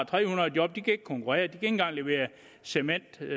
tre hundrede job de kan ikke konkurrere ikke engang levere cement til